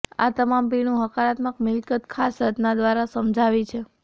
આ તમામ પીણું હકારાત્મક મિલકત ખાસ રચના દ્વારા સમજાવી છે